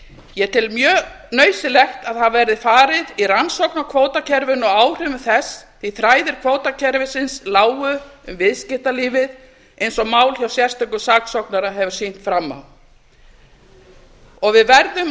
ég tel mjög nauðsynlegt að það verð farið í rannsókn á kvótakerfinu og áhrifum þess því þræðir kvótakerfisins lágu um viðskiptalífið eins og mál hjá sérstökum saksóknara hefur sýnt fram á við verðum að